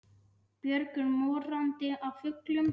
Björgin morandi af fuglum.